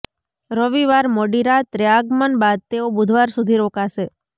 રવિવાર મોડી રાત્રે આગમન બાદ તેઓ બુધવાર સુધી રોકાશે